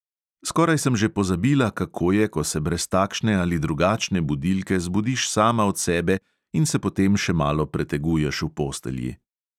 Skoraj sem že pozabila, kako je, ko se brez takšne ali drugačne budilke zbudiš sama od sebe in se potem še malo preteguješ v postelji.